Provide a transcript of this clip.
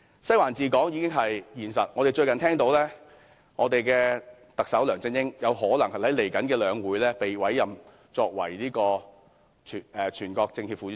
"西環"治港已是現實，我們最近聽到特首梁振英有可能在稍後的兩會獲委任為全國政協副主席。